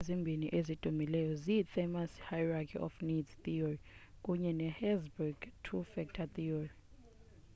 iithiyori ezimbini ezidumileyo zii-themous's hierarchy of needs theory kunye ne-herzberg's two factor theory